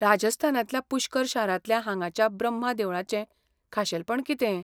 राजस्थानांतल्या पुष्कर शारांतल्या हांगाच्या ब्रम्हा देवळाचें खाशेलपण कितें ?